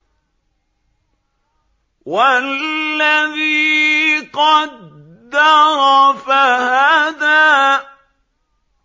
وَالَّذِي قَدَّرَ فَهَدَىٰ